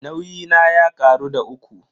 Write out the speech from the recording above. Nauyi na ya karu da uku.